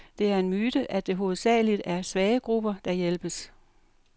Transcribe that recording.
Det er en myte, at det hovedsageligt er svage grupper, der hjælpes.